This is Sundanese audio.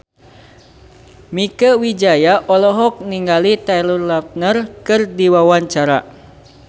Mieke Wijaya olohok ningali Taylor Lautner keur diwawancara